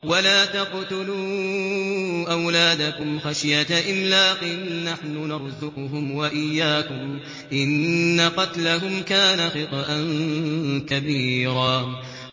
وَلَا تَقْتُلُوا أَوْلَادَكُمْ خَشْيَةَ إِمْلَاقٍ ۖ نَّحْنُ نَرْزُقُهُمْ وَإِيَّاكُمْ ۚ إِنَّ قَتْلَهُمْ كَانَ خِطْئًا كَبِيرًا